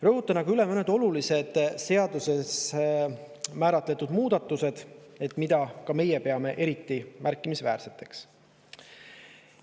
Rõhutan aga üle mõned olulised seaduses tehtavad muudatused, mida meie peame eriti märkimisväärseteks.